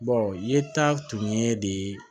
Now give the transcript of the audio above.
yeta tun ye de